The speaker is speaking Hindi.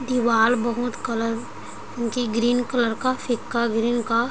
दीवाल बहुत कलर की ग्रीन कलर का फीका ग्रीन का--